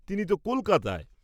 তিনি তো কলকাতায়!